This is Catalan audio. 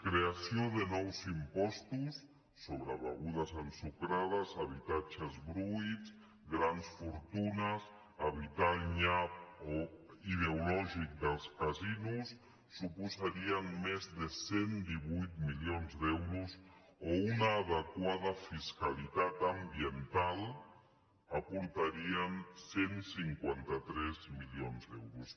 creació de nous impostos sobre begudes ensucrades habitatges buits grans fortunes evitar el nyap ideològic dels casinos suposaria més de cent i divuit milions d’euros o una adequada fiscalitat ambiental aportaria cent i cinquanta tres milions d’euros